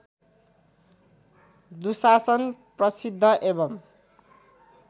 दुशासन प्रसिद्ध एवं